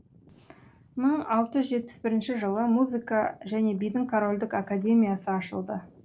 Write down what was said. мың алты жүз жетпіс бірінші жылы музыка және бидің корольдық академиясы ашылды